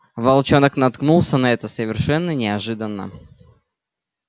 волчонок наткнулся на это совершенно неожиданно